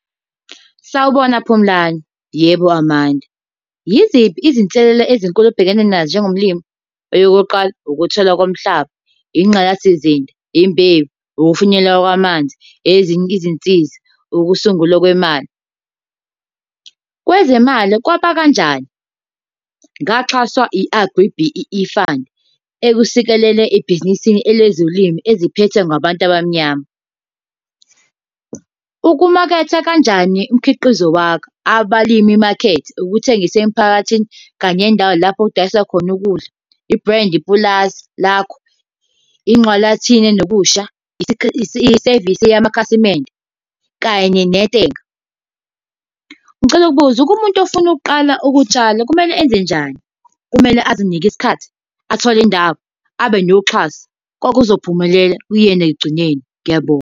Sawubona Phumlani. Yebo Amanda. Yiziphi izinselela ezinkulu obhekene nazo njengomlimi? Eyokuqala ukuthela komhlaba, ingqalasizinda, imbewu, ukufinyelela kwamanzi, ezinye izinsizi, ukusungulwa kwemali. Kwezemali kwaba kanjani? Ngaxhaswa i-AgriB_E_E Fund ekusikelela ebhizinisini ele zolimo eziphethwe ngabantu abamnyama. Ukumaketha kanjani umkhiqizo wakho? Abalimi market, ukuthengisa emphakathini kanye nendawo lapho okudayisa khona ukudla, i-brand, ipulazi lakho, nokusha, isevisi yamakhasimende kanye . Ngicela ukubuza, kumuntu ofuna ukuqala ukutshala kumele enze njani? Kumele azinike isikhathi, athole indawo, abe noxhaso, konke kuzophumelela kuyena ekugcineni. Ngiyabonga.